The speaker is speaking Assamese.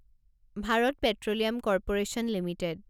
Bharat petroleum corporation limited